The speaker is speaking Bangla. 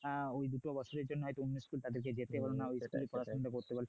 ওই দুটো বছরের জন্য কিন্তু তাদের অন্য স্কুলে যেতে হলোনা ওই জায়গায় পড়াশোনাটা করতে পারল